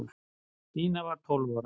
Stína var tólf ára.